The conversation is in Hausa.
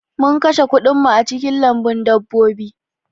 Mun kashe kuɗin mu a cikin lambun dabbobi